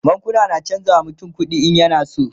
bankuna na chanza wa mutum kuɗi in yana so